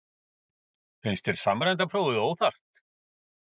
María Lilja Þrastardóttir: Finnst þér samræmda prófið óþarft?